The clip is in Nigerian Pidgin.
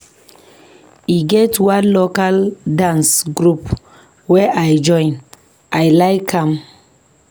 E get one local dance group wey I join, I like am.